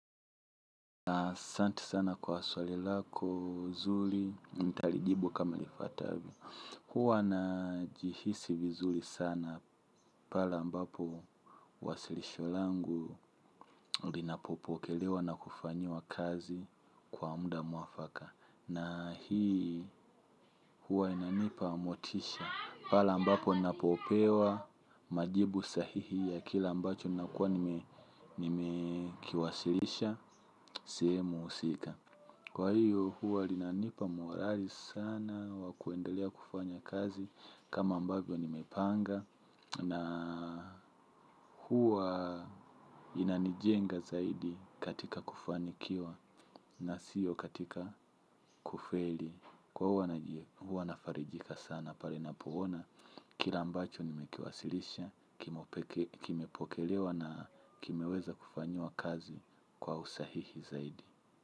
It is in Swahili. Asante sana kwa swali lako zuri, nitalijibu kama lifuatavyo. Huwa na jihisi vizuri sana pale ambapo wasilisho langu linapopokelewa na kufanyiwa kazi kwa muda mwafaka. Na hii huwa inanipa motisha pale ambapo napopewa majibu sahihi ya kile ambacho nakuwa nime kiwasilisha sehemu husika. Kwa hiyo huwa linanipa morali sana wa kuendelea kufanya kazi kama ambavyo nimepanga na huwa linanijenga zaidi katika kufanikiwa na sio katika kufeli. Kwa huwa na farijika sana pale ninapoona kile ambacho nimekiwasilisha kimepokelewa na kimeweza kufanyiwa kazi kwa usahihi zaidi.